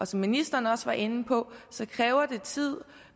som ministeren også var inde på kræver det tid